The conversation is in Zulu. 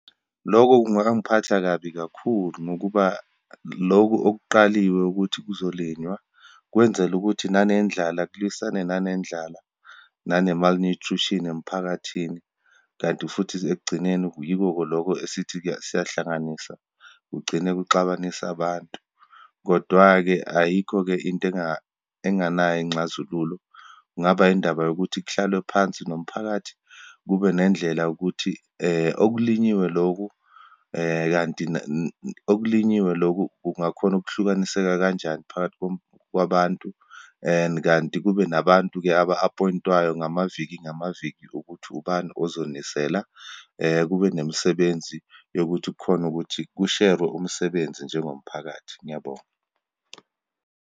Loko kungangiphatha kabi kakhulu, ngokuba loku okuqaliwe ukuthi kuzolinywa, kwenzela ukuthi nanendlala, kulwisane nanendlala, nane-malnutrition emphakathini. Kanti futhi ekugcineni yiko loko esithi siyahlanganisa, kugcine kuxabanisa abantu. Kodwa-ke ayikho-ke into enganayo inxazululo. Kungaba indaba yokuthi kuhlalwe phansi nomphakathi, kube nendlela yokuthi okulinyiwe loku kanti okulinyiwe loku, kungakhona ukuhlukaniseka kanjani phakathi kwabantu. And kanti kube nabantu-ke aba-appoint-wayo ngamaviki ngamaviki, ukuthi ubani ozonisela. Kube nemisebenzi yokuthi kukhona ukuthi kusherwe umsebenzi njengomphakathi. Ngiyabonga